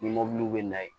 Ni mɔbili bɛ na yen